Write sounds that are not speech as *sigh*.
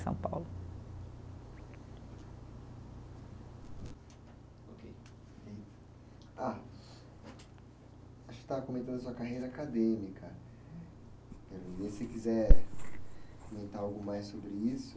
São Paulo. Ok, eh, ah, acho que estava comentando da sua carreira acadêmica, *unintelligible* se quiser comentar algo mais sobre isso.